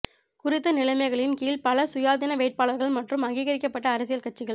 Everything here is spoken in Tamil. குறித்த நிலைமைகளின் கீழ் பல சுயாதீன வேட்பாளர்கள் மற்றும் அங்கிகரிக்கப்பட்ட அரசியல் கட்சிகள்